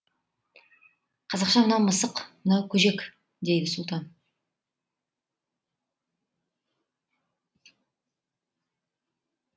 қазақша мынау мысық мынау көжек дейді сұлтан